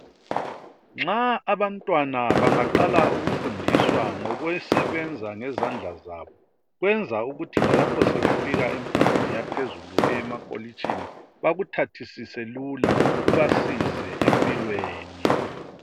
Nxa abantwana bangaqala ukufundiswa ngokusebenza ngezandla zabo kwenza ukuthi lalapho sebefika emfundweni yaphezulu eyemakolitshini bakuthathisise lula kubasize empilweni.